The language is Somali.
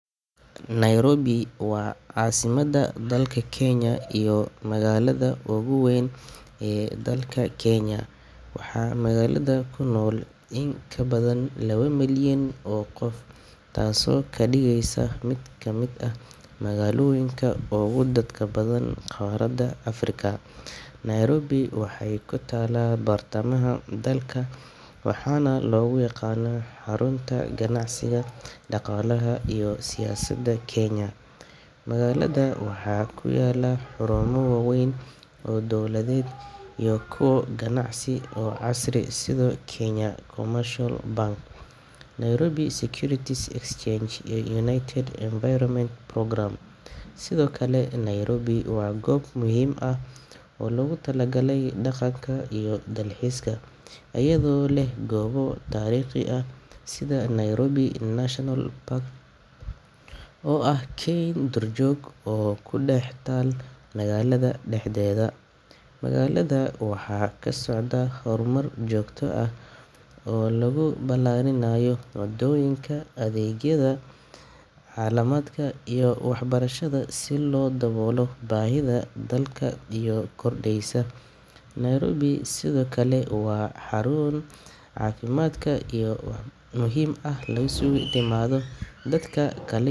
Nairobi waa caasimadda dalka Kenya iyo magaalada ugu weyn ee dalka. Waxaa magaalada ku nool in ka badan laba milyan oo qof, taasoo ka dhigeysa mid ka mid ah magaalooyinka ugu dadka badan qaaradda Afrika. Nairobi waxay ku taalla bartamaha dalka, waxaana lagu yaqaanaa xarunta ganacsiga, dhaqaalaha, iyo siyaasadda Kenya. Magaalada waxaa ku yaalla xarumo waaweyn oo dowladeed iyo kuwo ganacsi oo casri ah sida Kenya Commercial Bank, Nairobi Securities Exchange, iyo United Nations Environment Programme. Sidoo kale, Nairobi waa goob muhiim ah oo loogu talagalay dhaqanka iyo dalxiiska, iyadoo leh goobo taariikhi ah sida Nairobi National Park oo ah keyn duurjoog ah oo ku dhex taal magaalada dhexdeeda. Magaalada waxaa ka socda horumar joogto ah oo lagu ballaarinayo wadooyinka, adeegyada caafimaadka, iyo waxbarashada si loo daboolo baahida dadka sii kordheysa. Nairobi sidoo kale waa xarun muhiim ah oo isugu timaadda dadka ka kala yimid guud ahaan Kenya iyo dalal kale, taasoo ka dhigeysa magaalo leh dhaqan iyo luqado kala.